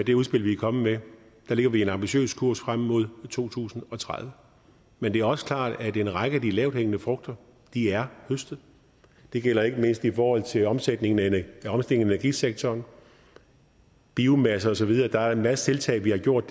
det udspil vi er kommet med lægger vi en ambitiøs kurs frem mod to tusind og tredive men det er også klart at en række af de lavthængende frugter er høstet det gælder ikke mindst i forhold til omstillingen af energisektoren biomasse og så videre der er en masse tiltag vi har gjort